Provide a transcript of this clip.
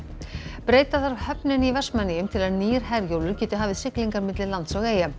breyta þarf höfninni í Vestmannaeyjum til að nýr Herjólfur geti hafið siglingar milli lands og eyja